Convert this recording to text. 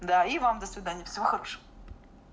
да и вам до свидания всего хорошего